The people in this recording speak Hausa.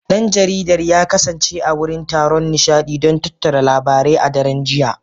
Dan jaridar ya kasance a wurin taron nishadi don tattara labarai a daren jiya